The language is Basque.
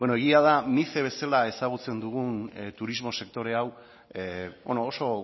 bueno egia da mice bezala ezagutzen dugun turismo sektore hau oso